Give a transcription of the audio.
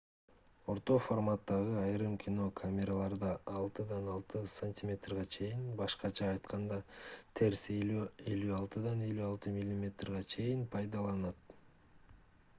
орто форматтагы айрым кино камераларда 6-6 см башкача айтканда терс 56-56 мм пайдаланылат